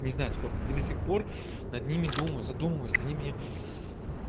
не знаю сколько и до сих пор над ними думаю задумываюсь они мне